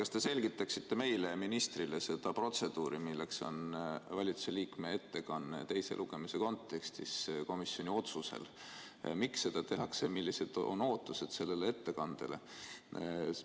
Kas te selgitaksite meile ja ministrile seda protseduuri, milleks on valitsuse liikme ettekanne teise lugemise kontekstis komisjoni otsusel, miks seda tehakse ja millised on ootused sellele ettekandele?